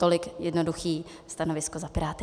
Tolik jednoduché stanovisko za Piráty.